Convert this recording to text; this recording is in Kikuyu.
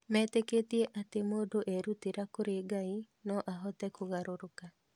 Metĩkĩtie atĩ mũndũ erutĩra kũrĩ Ngai, no ahote kũgarũrũka.